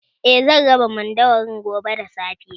Aa, zan raba mandawarin gobe da safe